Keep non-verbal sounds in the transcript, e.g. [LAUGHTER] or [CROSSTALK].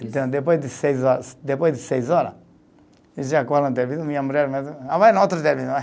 Então, depois de seis horas, depois de seis hora eu já [UNINTELLIGIBLE] minha mulher [UNINTELLIGIBLE]